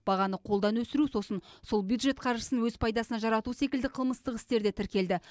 бағаны қолдан өсіру сосын сол бюджет қаржысын өз пайдасына жарату секілді қылмыстық істер де тіркелді